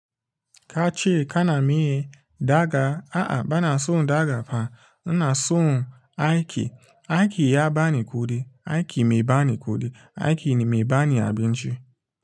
Ka ce kana miye, daga a'a bana son daga fa. Ina son aiki. Aiki ya ba ni kuɗi, aiki mai ba ni kuɗi, aiki ne mai ba ni abinci.